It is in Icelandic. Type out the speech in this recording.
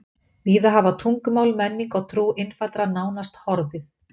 Víða hafa tungumál, menning og trú innfæddra nánast horfið.